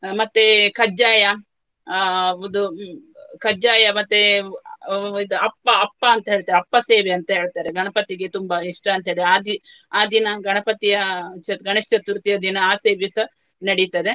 ಅಹ್ ಮತ್ತೆ ಕಜ್ಜಾಯ ಅಹ್ ಒಂದು ಕಜ್ಜಾಯ ಮತ್ತೆ ಅಹ್ ಇದು ಅಪ್ಪ ಅಪ್ಪ ಅಂತ ಹೇಳ್ತೇವೆ. ಅಪ್ಪ ಸೇವೆ ಅಂತ ಹೇಳ್ತಾರೆ. ಗಣಪತಿಗೆ ತುಂಬಾ ಇಷ್ಟ ಅಂತ ಹೇಳಿ ಆ ಜಿ~ ಆ ದಿನ ಗಣಪತಿಯ ಚತು~ ಗಣೇಶ್ ಚತುರ್ಥಿಯ ದಿನ ನಡೀತದೆ.